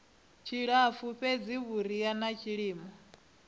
tshilapfu fhedzi vhuriha na tshilimo